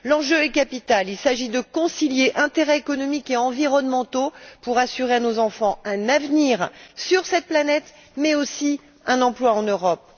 L'enjeu est capital il s'agit de concilier intérêts économiques et environnementaux pour assurer à nos enfants un avenir sur cette planète mais aussi un emploi en Europe.